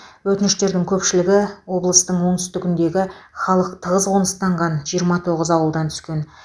өтініштердің көпшілігі облыстың оңтүстігінде халық тығыз қоныстанған жиырма тоғыз ауылдан түскен